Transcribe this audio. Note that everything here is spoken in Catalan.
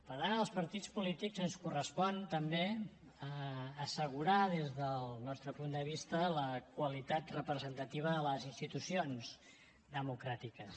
per tant als partits polítics ens correspon també assegurar des del nostre punt de vista la qualitat representativa de les institucions democràtiques